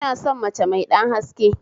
Ina son mace mai ɗan haske